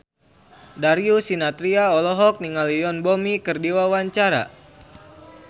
Darius Sinathrya olohok ningali Yoon Bomi keur diwawancara